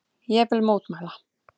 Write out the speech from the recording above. Ég vil mótmæla.